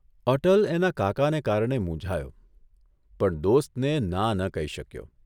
અટલ એના કાકાને કારણે મૂંઝાયો પણ દોસ્તને ના ન કહી શક્યો.